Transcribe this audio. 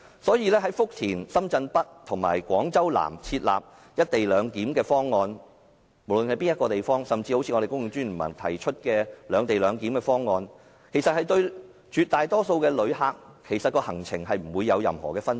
所以，無論在福田、深圳北及廣州南設立"一地兩檢"的方案，甚至是公共專業聯盟提出的"兩地兩檢"的方案，其實對絕大多數的旅客而言，行程亦不會有任何分別。